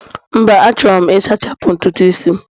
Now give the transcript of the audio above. mba, Achọrọ m Ị sachapụ ntutu isi'm